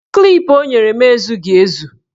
Klip o nyere m ezughị ezu